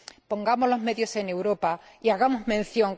Pongamos los medios en Europa y hagamos mención.